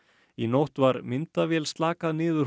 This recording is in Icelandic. í nótt var myndavél slakað niður